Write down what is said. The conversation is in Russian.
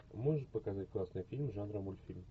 можешь показать классный фильм жанра мультфильм